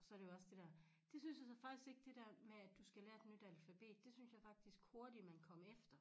Så det jo også det dér det synes jeg så faktisk ikke det dér med du skal lære et nyt alfabet det synes jeg faktisk hurtigt man kom efter